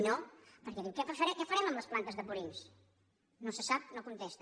no perquè diu què farem amb les plantes de purins no se sap no contesta